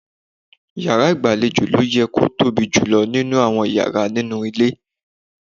Yàrá ìgbàlejò ló yẹ kó tóbi jù nínú àwọn yàrá nínú ilé.